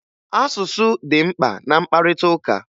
Asụsụ dị mkpa na mkparịtaụka